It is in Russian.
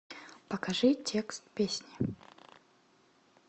покажи текст песни